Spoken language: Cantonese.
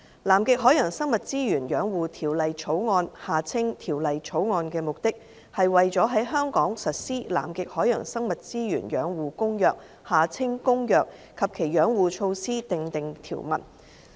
《南極海洋生物資源養護條例草案》的目的，是為了在香港實施《南極海洋生物資源養護公約》及其養護措施訂定條文。